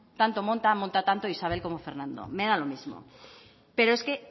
tanto monta monta tanto isabel como fernando me da lo mismo pero es que